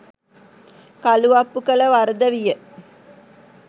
කළුඅප්පු කළ වරද විය